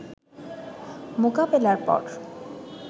মোকাবেলার পর